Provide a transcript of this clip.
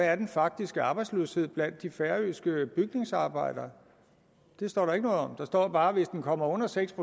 er den faktiske arbejdsløshed blandt de færøske bygningsarbejdere det står der ikke noget om der står bare at hvis den kommer under seks